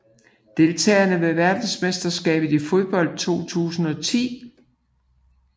Deltagere ved verdensmesterskabet i fodbold 2010